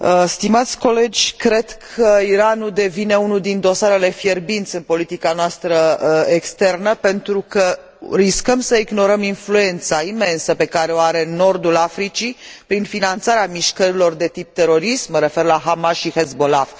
Stimați colegi, cred că Iranul devine unul din dosarele fierbinți în politica noastră externă, pentru că riscăm să ignorăm influența imensă pe care o are în nordul Africii, prin finanțarea mișcărilor de tip terorist, mă refer la Hamas și Hezbollah.